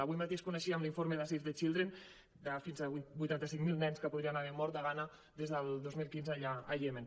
avui mateix coneixíem l’informe de save the children de fins a vuitanta cinc mil nens que podrien haver mort de gana des del dos mil quinze al iemen